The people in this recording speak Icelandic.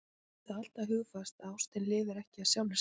Höfum það alltaf hugfast að ástin lifir ekki af sjálfri sér.